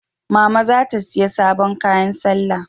Mama za ta siyai sabon kayan salla